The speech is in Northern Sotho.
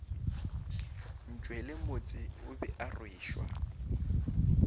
ntšwelemotse o be a rwešwa